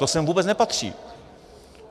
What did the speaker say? To sem vůbec nepatří.